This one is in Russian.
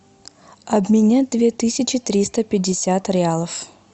обменять две тысячи триста пятьдесят реалов